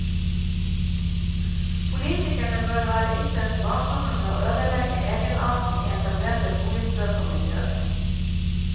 Politikerne bør være ytterst varsomme med å ødelegge egenarten i etablerte boligstrøk og miljøer.